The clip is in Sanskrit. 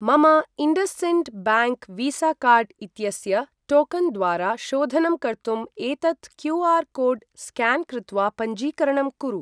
मम IndusInd bank Visa card इत्यस्य टोकन् द्वारा शोधनं कर्तुम् एतत् क्यू.आर्.कोड् स्क्यान् कृत्वा पञ्जीकरणं कुरु।